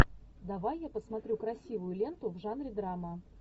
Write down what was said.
давай я посмотрю красивую ленту в жанре драма